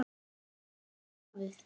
Er hann til í starfið?